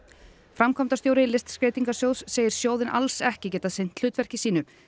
framkvæmdastjóri Listskreytingasjóðs segir sjóðinn alls ekki geta sinnt hlutverki sínu